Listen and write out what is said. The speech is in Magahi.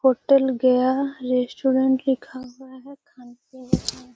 होटल गया रेस्टोरेंट लिखा हुआ है खाने-पीने में --